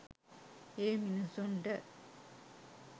ඒ මිනිසුන්ට.